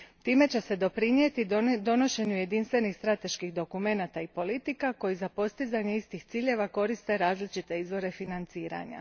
Time će se doprinijeti donošenju jedinstvenih strateških dokumenata i politika, koji za postizanje istih ciljeva koriste različite izvore financiranja.